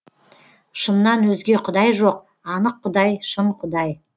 шыннан өзге құдай жоқ анық құдай шын құдай